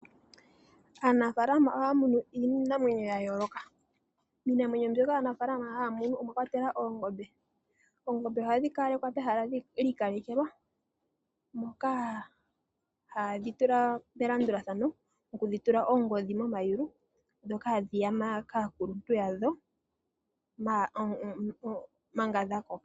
Aanafalama ohaya munu iinamwenyo yayooloka. Iinamwenyo mbyoka haya munu ongaashi oongombe, oongombe ohadhi kala pehala lyiikelekelwa. Ohadhi tulwa melandulathano opo yedhi tule oongodhi momayulu dhoka hadhi yaminine.